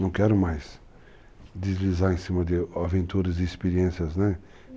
Não quero mais deslizar em cima de aventuras e experiências, né?